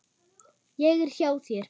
Ég er hjá þér.